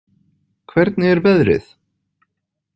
Hvernig er veðrið?